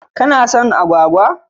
Kano son agwagwa?